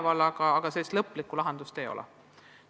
Teema on arutusel, aga lõplikku lahendust veel ei ole.